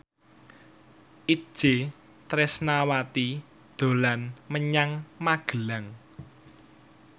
Itje Tresnawati dolan menyang Magelang